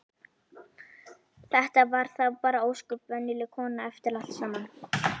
Þetta var þá bara ósköp venjuleg kona eftir allt saman.